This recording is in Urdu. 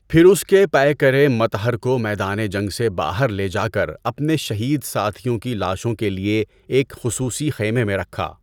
پھر اس کے پیکرِ مطهر کو میدان جنگ سے باہر لے جا کر اپنے شہید ساتھیوں کی لاشوں کے لیے ایک خصوصی خیمے میں رکھا۔